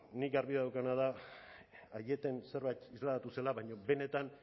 bueno nik garbi daukadana da aieten zerbait deklaratu zela baina benetan